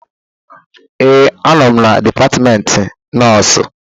ee, anọ m na Dipatmentị Nọọsịn